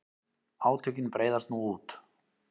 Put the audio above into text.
Átökin breiðast nú út.